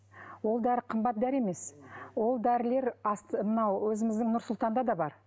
ол дәрі қымбат дәрі емес ол дәрілер мынау өзіміздің нұр сұлтанда да бар